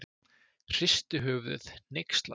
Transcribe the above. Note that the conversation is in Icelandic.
Hristi höfuðið, hneykslaður.